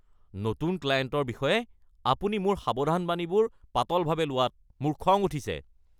নতুন ক্লায়েণ্টৰ বিষয়ে আপুনি মোৰ সাৱধানবাণীবোৰ পাতলভাৱে লোৱাত মোৰ খং উঠিছে।